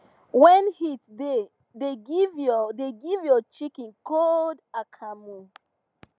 when heat da give your da give your chicken cold akamu